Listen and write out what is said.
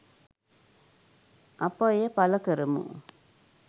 අප එය පළ කරමු.